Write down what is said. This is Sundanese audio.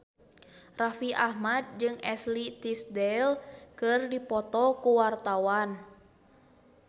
Raffi Ahmad jeung Ashley Tisdale keur dipoto ku wartawan